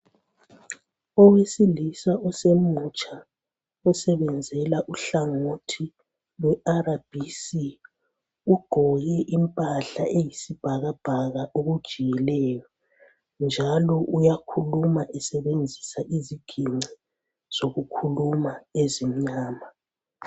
Owesilisa osemutsha, osebenzela uhlangothi lwe RBC, ugqoke impahla eyisibhakabhaka okujiyileyo njalo uyakhuluma esebenzisa iziginci zokukhuluma ezimnyama